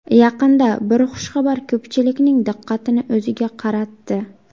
Yaqinda bir xushxabar ko‘pchilikning diqqatini o‘ziga qaratdi.